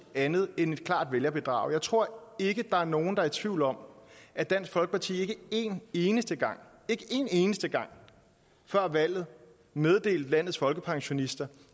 andet end et klart vælgerbedrag jeg tror ikke der er nogen der er i tvivl om at dansk folkeparti ikke en eneste gang ikke en eneste gang før valget meddelte landets folkepensionister